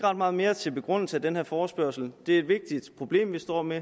ret meget mere til begrundelse af den her forespørgsel det er et vigtigt problem vi står med